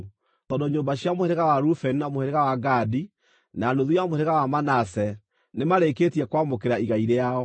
Tondũ nyũmba cia mũhĩrĩga wa Rubeni, na mũhĩrĩga wa Gadi, na nuthu ya mũhĩrĩga wa Manase nĩmarĩkĩtie kwamũkĩra igai rĩao.